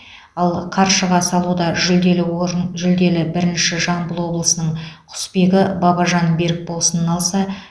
ал қаршыға салуда жүлделі орын жүлделі бірінші жамбыл облысының құсбегі бабажан берікболсын алса